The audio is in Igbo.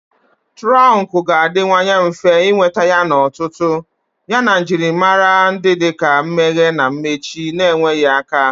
Turonku ga-adịwanye mfe ịnweta yana ọtụtụ, yana njirimara dị ka mmeghe na mmechi na-enweghị aka